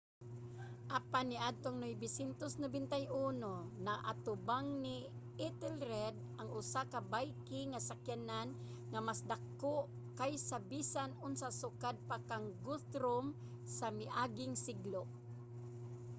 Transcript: apan niadtong 991 naatubang ni ethelred ang usa ka viking nga sakyanan nga mas dako kaysa bisan unsa sukad pa kang guthrum sa miaging siglo